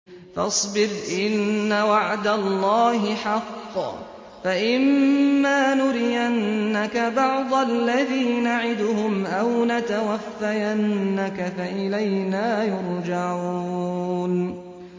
فَاصْبِرْ إِنَّ وَعْدَ اللَّهِ حَقٌّ ۚ فَإِمَّا نُرِيَنَّكَ بَعْضَ الَّذِي نَعِدُهُمْ أَوْ نَتَوَفَّيَنَّكَ فَإِلَيْنَا يُرْجَعُونَ